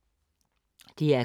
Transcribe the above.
DR K